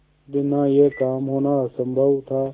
बिना यह काम होना असम्भव था